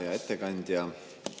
Hea ettekandja!